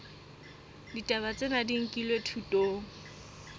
ditaba tsena di nkilwe thutong